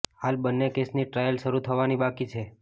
હાલ બંને કેસની ટ્રાયલ શરૂ થવાની બાકી છે